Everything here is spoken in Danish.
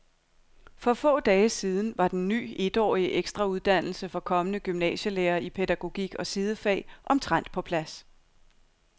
For få dage siden var den ny etårige ekstrauddannelse for kommende gymnasielærere i pædagogik og sidefag omtrent på plads.